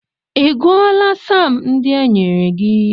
Ị gụọla saam ndị e nyere gị?